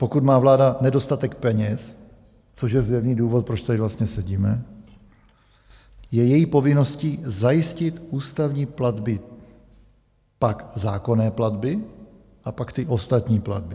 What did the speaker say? Pokud má vláda nedostatek peněz, což je zjevný důvod, proč tady vlastně sedíme, je její povinností zajistit ústavní platby, pak zákonné platby a pak ty ostatní platby.